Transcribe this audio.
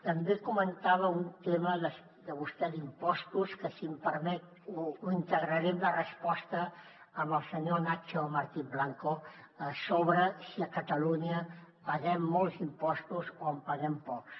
també comentava un tema vostè d’impostos que si em permet l’integraré en la resposta al senyor nacho martín blanco sobre si a catalunya paguem molts impostos o en paguem pocs